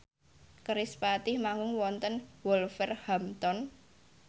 kerispatih manggung wonten Wolverhampton